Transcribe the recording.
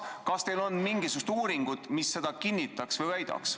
Kas teil on mingisugused uuringud, mis seda kinnitavad?